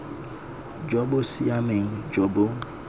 jo bo siameng jo bo